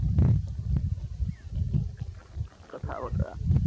কথা-বতৰা